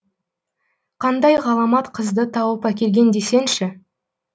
қандай ғаламат қызды тауып әкелген десеңші